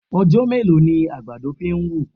Ọjọ́ mélòó ni àgbàdo fi ń wù?